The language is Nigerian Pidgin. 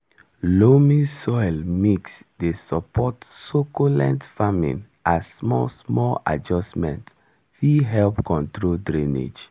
loamy soil mix dey support succulent farming as small small adjustment fit help control drainage.